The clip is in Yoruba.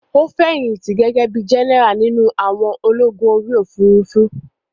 Ó fẹ̀yìntì gẹ́gẹ́ bíi jẹ́nẹ́rà nínú àwọn ológun orí òfurufú